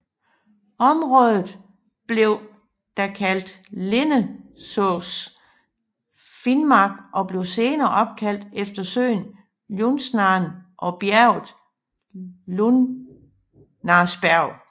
Området blev da kaldt Lindesås finnmark og blev senere opkaldt efter søen Ljusnaren og bjerget Ljusnarsberg